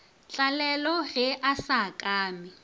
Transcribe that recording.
tlalelo ge a sa akame